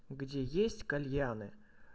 где есть кальяны